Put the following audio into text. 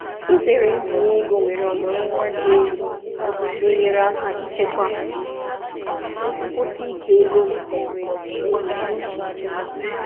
Izere mbinye ego nwere ọmụrụ nwa dị elu na-enyere aka ichekwa nkwụsi ike ego m na ebumnuche nchekwa.